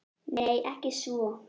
Nei, ekki svo